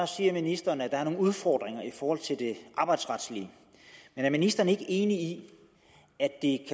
siger ministeren at der er nogle udfordringer i forhold til det arbejdsretlige men er ministeren ikke enig i at det